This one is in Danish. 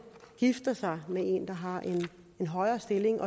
gifter sig med en der har en højere stilling